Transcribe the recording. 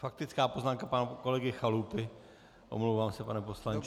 Faktická poznámka pana kolegy Chalupy, omlouvám se, pane poslanče.